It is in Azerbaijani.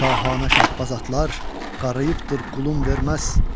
Şahanə şahbaz atlar qarıyıbdır, qulun verməz.